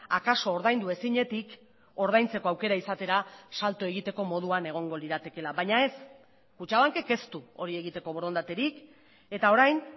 akaso ordaindu ezinetik ordaintzeko aukera izatera salto egiteko moduan egongo liratekeela baina ez kutxabankek ez du hori egiteko borondaterik eta orain